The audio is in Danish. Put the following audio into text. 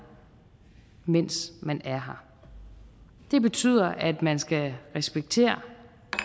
mens man er her det betyder at man skal respektere